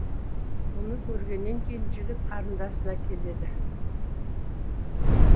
мұны көргеннен кейін жігіт қарындасына келеді